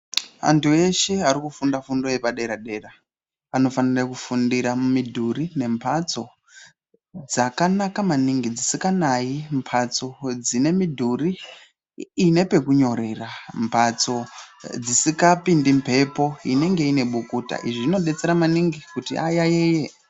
Andu eshe arikufunda fundo yepadera dera anofanira kufundira mumidhuri nembatso dzakanaka maningi dzisinganayi mbatso dzine midhuri ine pekunyorera mbatso dzisingapindi mbepo inenge ine bukuta izvi zvinodetsera maningi kuti ayayiye.